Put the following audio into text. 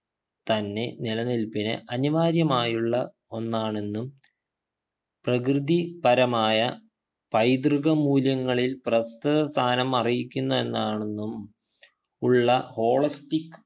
തന്നെ നിലനിൽപ്പിനു അനിവാര്യമായുള്ള ഒന്നാണെന്നും പ്രകൃതിപരമായ പൈതൃകമൂല്യങ്ങളിൽ പ്രസ്തുത സ്ഥാനം അർഹിക്കുന്ന ഒന്നാണെന്നും ഉള്ള holistic